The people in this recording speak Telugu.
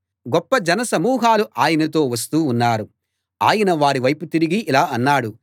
గొప్ప జన సమూహాలు ఆయనతో వస్తూ ఉన్నారు ఆయన వారి వైపు తిరిగి ఇలా అన్నాడు